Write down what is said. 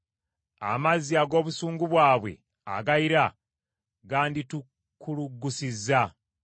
amazzi ag’obusungu bwabwe agayira ganditukuluggusizza.